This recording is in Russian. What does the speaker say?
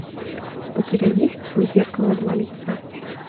у тебя есть у зеркала два лица